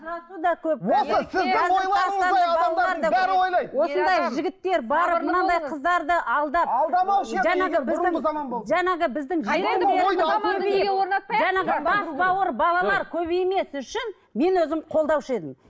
мынандай қыздарды алдап бас бауыр балалар көбеймес үшін мен өзім қолдаушы едім